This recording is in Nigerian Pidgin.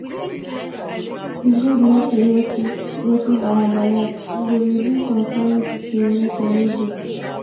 e good make we notice notice our bias e go reduce some kind discrimination wey dey.